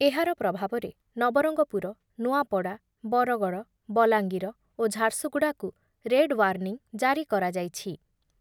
ଏହାର ପ୍ରଭାବରେ ନବରଙ୍ଗପୁର, ନୂଆପଡ଼ା, ବରଗଡ଼, ବଲାଙ୍ଗୀର ଓ ଝାରସୁଗୁଡ଼ାକୁ ରେଡ଼୍ ୱାର୍ନିଂ ଜାରି କରାଯାଇଛି।